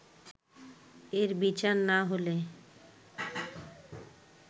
এর বিচার না হলে